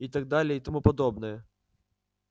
и так далее и тому подобное